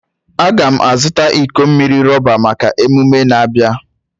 Agam a zuta iko mmiri roba maka ememe a na-abia.